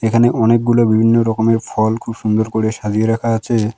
এখানে অনেকগুলো বিভিন্ন রকমের ফল খুব সুন্দর করে সাজিয়ে রাখা আছে।